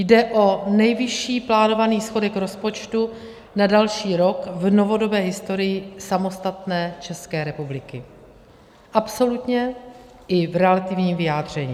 Jde o nejvyšší plánovaný schodek rozpočtu na další rok v novodobé historii samostatné České republiky, absolutně i v relativním vyjádření.